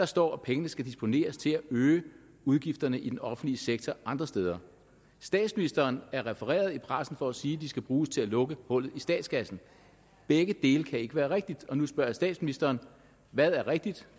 står at pengene skal disponeres til at øge udgifterne i den offentlige sektor andre steder statsministeren er refereret i pressen for at sige at de skal bruges til at lukke hullet i statskassen begge dele kan ikke være rigtigt og nu spørger jeg statsministeren hvad er rigtigt